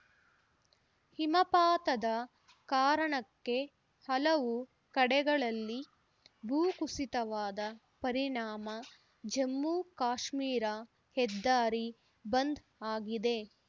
ಹಿಮಪಾತದ ಕಾರಣಕ್ಕೆ ಹಲವು ಕಡೆಗಳಲ್ಲಿ ಭೂಕುಸಿತವಾದ ಪರಿಣಾಮ ಜಮ್ಮುಕಾಶ್ಮೀರ ಹೆದ್ದಾರಿ ಬಂದ್‌ ಆಗಿದೆ